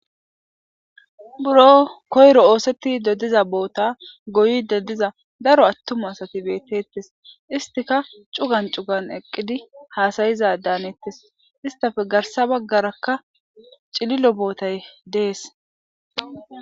buro koyro ooseti dodiza boota goyide diza daro attuma asati beettettes istika cugan cugan eqqidi haasayiza daanettes istafe garsa baggarakka cililo bootay dees